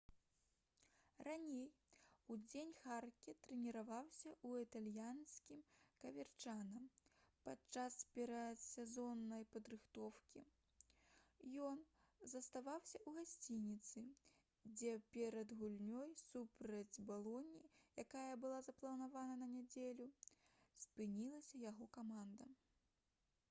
раней удзень харке трэніраваўся ў італьянскім каверчана падчас перадсезоннай падрыхтоўкі ён заставаўся ў гасцініцы дзе перад гульнёй супраць балоні якая была запланавана на нядзелю спынілася яго каманда